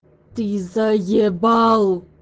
ты заебал